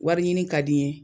Wari ɲini ka di n ye